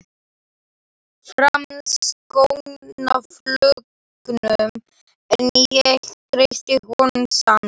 Framsóknarflokknum, en ég treysti honum samt.